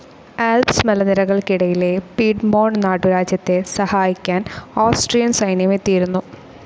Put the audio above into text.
Alps മലനിരകൾക്കിടയിലെ Piedmont നാട്ടുരാജ്യത്തെ സഹായിക്കാൻ ഓസ്ട്രിയൻ സൈന്യം എത്തിയിരുന്നു.